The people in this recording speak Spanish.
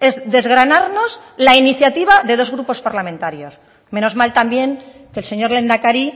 es desgranarnos la iniciativa de dos grupos parlamentarios menos mal también que el señor lehendakari